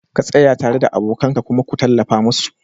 ka tsaya tare da abokan ka kuma ku tallafa musu